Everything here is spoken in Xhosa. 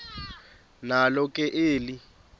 nalo ke eli